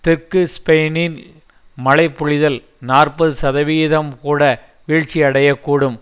தெற்கு ஸ்பெயினில் மழை பொழிதல் நாற்பது சதவிகிதம்கூட வீழ்ச்சி அடையக்கூடும்